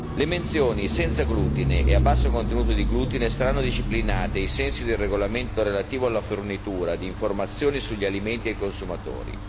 Le menzioni senza glutine e a basso contenuto di glutine saranno disciplinate ai sensi del regolamento relativo alla fornitura di informazioni sugli alimenti e i consumatori.